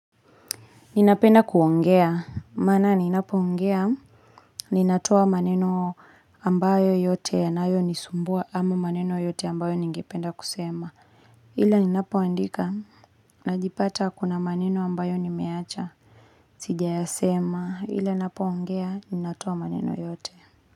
Ninapenda kuongea, maana ninapoongea, ninatoa maneno ambayo yote yanayo nisumbua ama maneno yote ambayo ningependa kusema. Ila ninapoandika, najipata kuna maneno ambayo nimeacha. Sijayasema, ila napoongea, ninatoa maneno yote.